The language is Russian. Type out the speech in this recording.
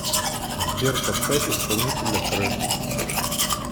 сбер поставь исполнителя краш